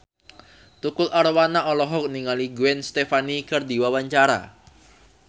Tukul Arwana olohok ningali Gwen Stefani keur diwawancara